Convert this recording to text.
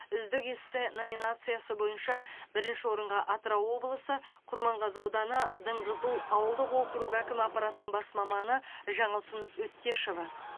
үздік эссе номинациясы бойынша бірінші орынға атырау облысы құрманғазы ауданы дыңғызыл ауылдық округі әкімі аппаратының бас маманы жаңылсын өттешова